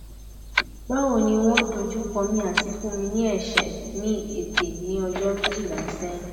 bawo ni won dojukomi ati fun mi ni ese ni ete ni ojo mejila sehin